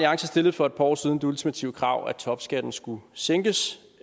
stillede for et par år siden det ultimative krav at topskatten skulle sænkes